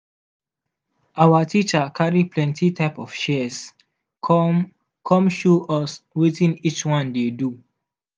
our teacher carry plenty type of shears come come show us wetin each one dey do.